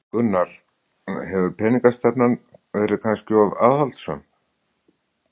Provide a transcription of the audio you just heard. Gunnar: Hefur peningastefnan verið kannski of aðhaldssöm?